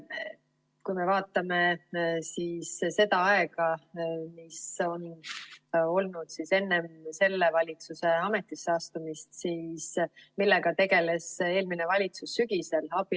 Kui me vaatame seda aega, mis on olnud enne selle valitsuse ametisse astumist, siis millega tegeles eelmine valitsus sügisel?